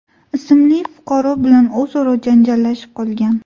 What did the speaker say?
ismli fuqaro bilan o‘zaro janjallashib qolgan.